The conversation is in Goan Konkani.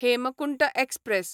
हेमकुंट एक्सप्रॅस